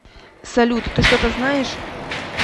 салют ты что то знаешь